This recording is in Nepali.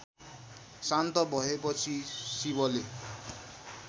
शान्त भएपछि शिवले